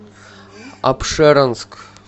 апшеронск